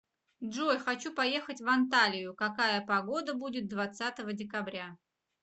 джой хочу поехать в анталию какая погода будет двадцатого декабря